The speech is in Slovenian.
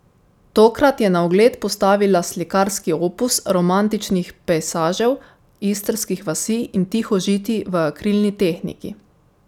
Tokrat je na ogled postavila slikarski opus romantičnih pejsažev istrskih vasi in tihožitij v akrilni tehniki.